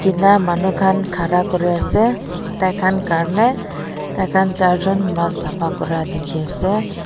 na manu khan khara kuri ase tai khan krne tai khan char jon mas safa kuri dikhi ase.